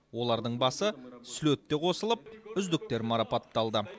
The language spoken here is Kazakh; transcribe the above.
олардың басы слетте қосылып үздіктер марапатталды